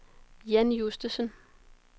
Jan Justesen